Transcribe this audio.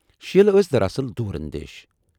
شیٖلہٕؔ ٲس دراصل دوٗر اندیٖش۔